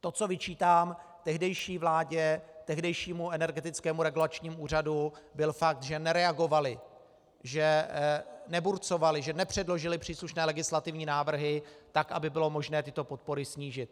To, co vyčítám tehdejší vládě, tehdejšímu Energetickému regulačnímu úřadu, byl fakt, že nereagovaly, že neburcovaly, že nepředložily příslušné legislativní návrhy tak, aby bylo možné tyto podpory snížit.